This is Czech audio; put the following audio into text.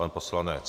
Pan poslanec.